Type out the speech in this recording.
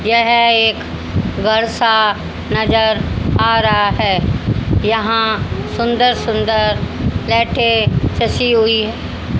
यह एक घर सा नज़र आ रहा है यहां सुंदर सुंदर लाइटें हुई है।